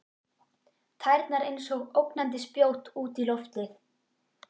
Tærnar einsog ógnandi spjót út í loftið.